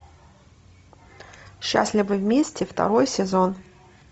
счастливы вместе второй сезон